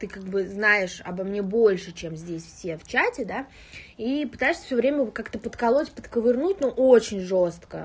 ты как бы знаешь обо мне больше чем здесь все в чате да и пытаешься всё время как-то подколоть подковырнуть ну очень жёстко